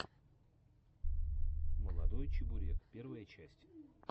молодой чебурек первая часть